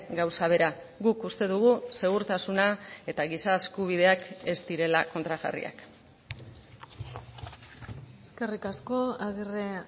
gauza bera guk uste dugu segurtasuna eta giza eskubideak ez direla kontrajarriak eskerrik asko agirre